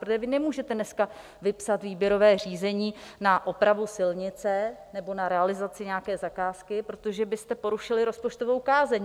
Protože vy nemůžete dneska vypsat výběrové řízení na opravu silnice nebo na realizaci nějaké zakázky, protože byste porušili rozpočtovou kázeň.